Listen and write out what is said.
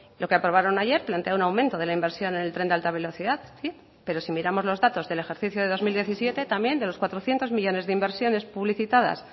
lo que aprobaron ayer plantea un aumento de la inversión en el tren de alta velocidad pero si miramos los datos del ejercicio de dos mil diecisiete también de los cuatrocientos millónes de inversiones publicitadas